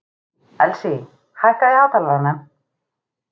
Elsí, hækkaðu í hátalaranum.